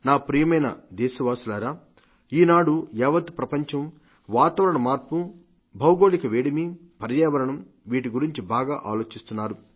నా ప్రియమైన దేశ వాసులారా ఈనాడు యావత్ ప్రపంచం వాతావరణ మార్పు భూతాపం పర్యావరణం వీటి గురించి బాగా ఆలోచిస్తున్నారు